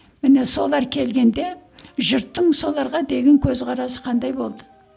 міне солар келгенде жұрттың соларға деген көзқарасы қандай болды